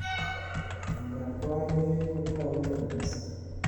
Miondab kwarimet kotau tamisto